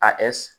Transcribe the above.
A